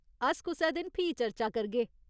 अस कुसै दिन फ्ही चर्चा करगे।